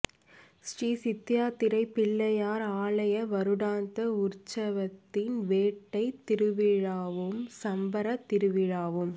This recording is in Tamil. ஸ்ரீ சிந்தாயாத்திரைப் பிள்ளையார் ஆலய வருடாந்த உற்சவத்தின் வேட்டைத் திருவிழாவும் சப்பரத் திருவிழாவும்